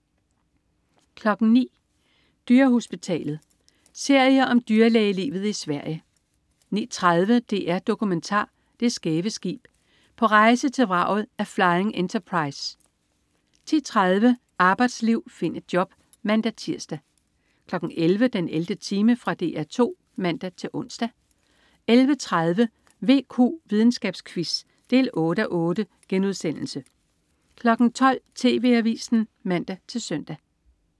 09.00 Dyrehospitalet. Serie om dyrlægelivet i Sverige 09.30 DR-Dokumentar. Det skæve skib. På rejse til vraget af Flying Enterprise 10.30 Arbejdsliv. Find et job! (man-tirs) 11.00 den 11. time. Fra DR 2 (man-ons) 11.30 VQ. Videnskabsquiz 8:8* 12.00 TV Avisen (man-søn)